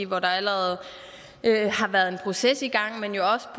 hvor der allerede har været en proces i gang men jo også